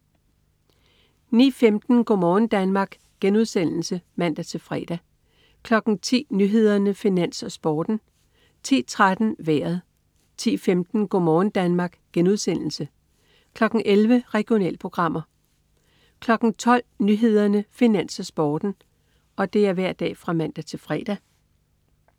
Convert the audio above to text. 09.15 Go' morgen Danmark* (man-fre) 10.00 Nyhederne, Finans, Sporten (man-fre) 10.13 Vejret (man-fre) 10.15 Go' morgen Danmark* (man-fre) 11.00 Regionalprogrammer (man-fre) 12.00 Nyhederne, Finans, Sporten (man-fre)